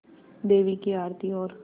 देवी की आरती और